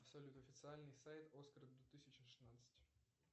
салют официальный сайт оскара две тысячи шестнадцать